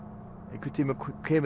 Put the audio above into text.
einhvern tímann